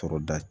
Tɔɔrɔ da